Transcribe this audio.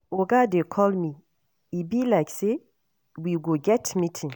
Oga dey call me e be like say we go get meeting